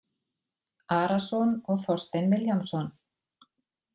Arason og Þorstein Vilhjálmsson.